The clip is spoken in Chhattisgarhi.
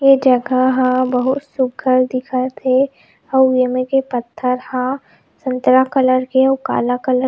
ए जगह ह बहुत सुघर दिखत हे अउ ए में के पत्थर ह संतरा कलर के अउ काला कलर --